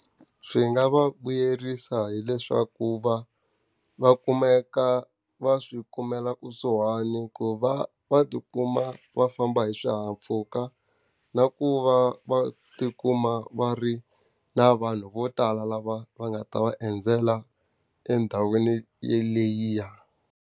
Swi nga va vuyerisa hileswaku va va kumeka va swi kumela kusuhani ku va va ti kuma va famba hi swihahampfhuka, na ku va va ti kuma va ri na vanhu vo tala lava va nga ta va endzela endhawini yeliya.